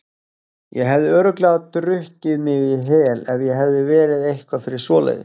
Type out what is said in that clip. Ég hefði örugglega drukkið mig í hel ef ég hefði verið eitthvað fyrir svoleiðis.